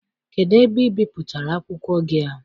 Kedụ ebe ị bipụtara akwụkwọ gị a?